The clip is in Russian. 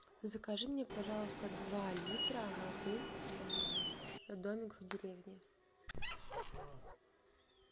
закажи мне пожалуйста два литра воды домик в деревне